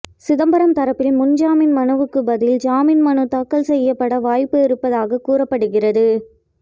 சிதம்பரம் தரப்பில் முன்ஜாமீன் மனுவுக்கு பதில் ஜாமீன் மனு தாக்கல் செய்யப்பட வாய்ப்பு இருப்பதாக கூறப்படுகிறது